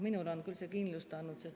Minule on küll see kindlust andnud.